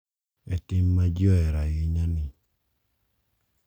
E tim ma ji ohero ahinya ni.